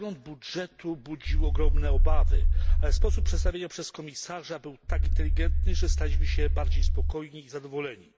Przegląd budżetu budził ogromne obawy, ale sposób przedstawienia przez komisarza był tak inteligentny, że staliśmy się bardziej spokojni i zadowoleni.